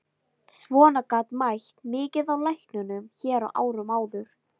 Svona gat mætt mikið á læknunum hér á árum áður.